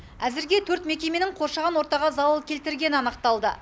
әзірге төрт мекеменің қоршаған ортаға залал келтіргені анықталды